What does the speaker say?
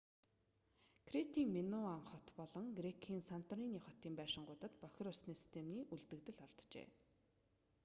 кретийн миноан хот болон грекийн санторини хотын байшингуудад бохир усны системийн үлдэгдэл олджээ